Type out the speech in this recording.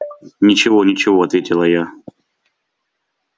ничего ничего ответила я